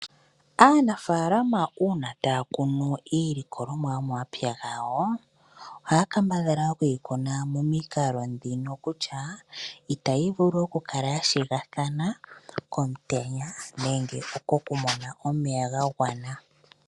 Aanafalama uuna taya kunu iilikolomwa yo mo mapya gawo, ohaya kambadhala okuyi kuna momikalo ndhino kutya itayi vulu oku kala ya shigathana komutenya, nenge poku mona omeya ga gwana .